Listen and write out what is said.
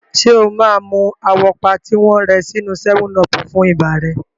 Ṣé o máa mu àwọ́pá tí wọ́n rẹ sínú 7 ọọ̀pù fún ibà rẹ?